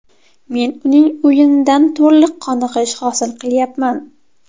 Men uning o‘yinidan to‘liq qoniqish hosil qilyapman.